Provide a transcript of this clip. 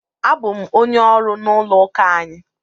Abụ m onye ọrụ n'ụlọụka anyị.